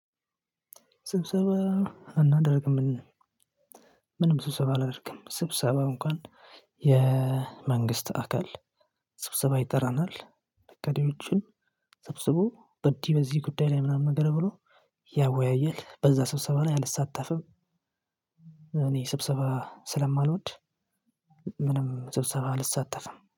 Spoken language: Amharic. ስብሰባ አናደርግም። ምንም ስብሰባ አላደርግም ስብሰባ እንኳን የመንግስት አካል ስብሰባ ይጠራናል ጉዳዮችን ሰብስቦ በዲ በዚህ ጉዳይ ላይ ምናምን ነገር ብሎ ያወያያል። በዛ ስብሰባ ነው ያልተሳተፍም። እኔ ስብሰባ ስለማልወድ ምንም ስብሰባ አልሳተፍም